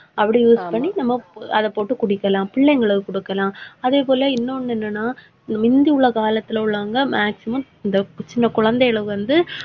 அப்படி use பண்ணி நம்ம அதை போட்டு குடிக்கலாம் பிள்ளைங்களுக்கு கொடுக்கலாம். அதே போல, இன்னொன்னு என்னன்னா முந்தி உள்ள காலத்துல உள்ளவங்க maximum இந்த சின்ன குழந்தையில வந்து,